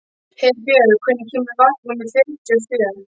Herbjörn, hvenær kemur vagn númer fjörutíu og sjö?